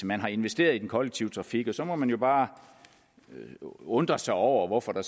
man har investeret i den kollektive trafik så må man jo bare undre sig over hvorfor der